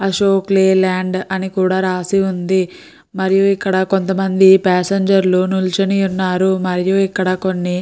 Ashok Leyland అని కూడా రాసి ఉంది. మరియు ఇక్కడ కొంతమంది పాసెంజర్ లు నించుని ఉన్నారు. మరియు ఇక్కడ కొన్ని --